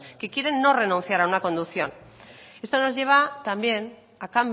que quieren no renunciar a una conducción esto nos lleva también a